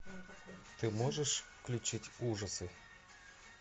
ты можешь включить ужасы